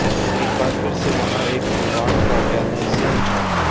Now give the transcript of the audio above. तो एक बार फिर से वहाँ एक इवान ओगेनेसयन था